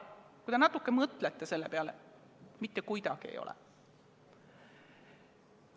Mõelge natuke selle peale, mitte kuidagi ei ole.